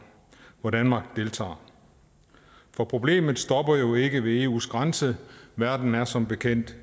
hvor danmark deltager for problemet stopper jo ikke ved eus grænser verden er som bekendt